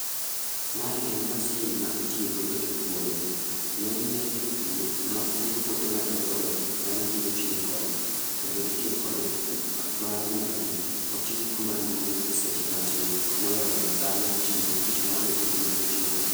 Mae en masin ma itiyo godo e puodho. Ng'eny ne jopur mapuro puothe ma dongo dongo ema hinyo tiyo kode. Kendo itiyo kode mar mondo mi oti kuma duong' e seche matin, moloyo dhano tiyo tich ma onego bedni otiyo no.